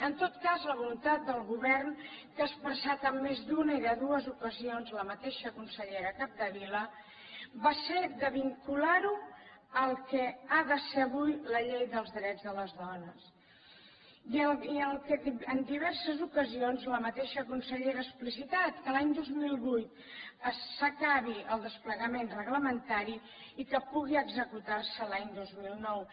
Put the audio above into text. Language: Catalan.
en tot cas la voluntat del govern que ha expressat en més d’una i de dues ocasions la mateixa consellera capdevila va ser de vincular ho al que ha de ser avui la llei dels drets de les dones i el que en diverses ocasions la mateixa consellera ha explicitat que l’any dos mil vuit s’acabi el desplegament reglamentari i que pugui executar se l’any dos mil nou